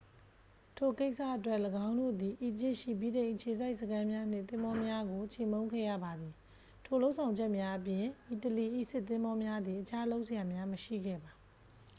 ထိုကိစ္စအတွက် ၎င်းတို့သည် အီဂျစ်ရှိ ဗြိတိန်အခြေစိုက်စခန်းများနှင့် သင်္ဘောများကို ချေမှုန်းခဲ့ရပါသည် ထိုလုပ်ဆောင်ချက်များအပြင် အီတလီ၏စစ်သင်္ဘောများသည် အခြားလုပ်စရာများ မရှိခဲ့ပါ